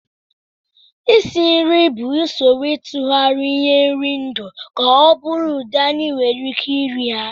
Isi nri bụ usoro ịtụgharị ihe nri ndụ ka ọ bụrụ ụdị anyị nwere ike iri ha